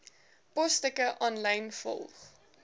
posstukke aanlyn volg